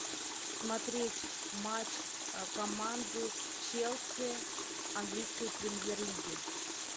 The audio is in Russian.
смотреть матч команды челси английской премьер лиги